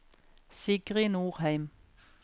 Sigrid Norheim